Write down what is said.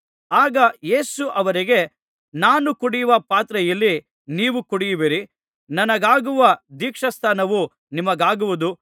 ಆಗ ಯೇಸು ಅವರಿಗೆ ನಾನು ಕುಡಿಯುವ ಪಾತ್ರೆಯಲ್ಲಿ ನೀವು ಕುಡಿಯುವಿರಿ ನನಗಾಗುವ ದೀಕ್ಷಾಸ್ನಾನವು ನಿಮಗಾಗುವುದು